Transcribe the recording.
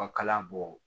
Ɔ kalan bɔ